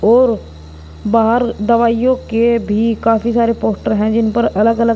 और बाहर दवाइयों के भी काफी सारे पोस्टर हैं जिन पर अलग अलग--